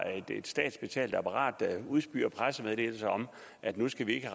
et statsbetalt apparat der udspyr pressemeddelelser om at nu skal vi ikke